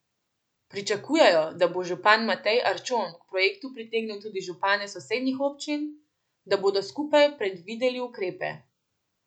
Pričakujejo, da bo župan Matej Arčon k projektu pritegnil tudi župane sosednjih občin, da bodo skupaj predvideli ukrepe.